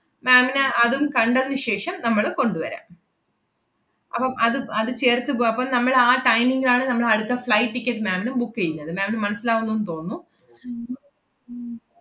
ma'am ന് അതും കണ്ടതിനു ശേഷം നമ്മള് കൊണ്ടുവരാം അപ്പം അത് അത് ചേർത്തു പോ~ അപ്പം നമ്മള് ആ timing ലാണ് നമ്മളടുത്ത flight ticket ma'am ന് book എയ്യുന്നത്. ma'am ന് മനസ്സിലാവുന്നുന്ന് തോന്നുന്നു ഉം ഉം